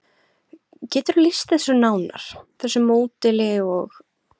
Geturðu lýst þessu nánar, þessu módeli og?